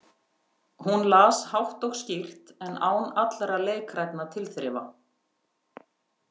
Hún las hátt og skýrt en án allra leikrænna tilþrifa.